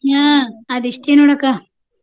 ಹ್ಮ ಅದಿಷ್ಟೆ ನೋಡಕ್ಕಾ.